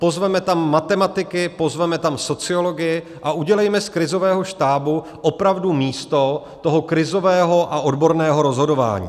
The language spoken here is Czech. Pozvěme tam matematiky, pozveme tam sociology a udělejme z krizového štábu opravdu místo toho krizového a odborného rozhodování.